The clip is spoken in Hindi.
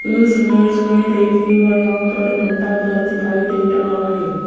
इस इमेज में देखिएगा यहां पर घंटाघर दिखाई दे रहा है।